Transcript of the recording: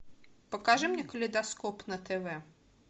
покажи мне калейдоскоп на тв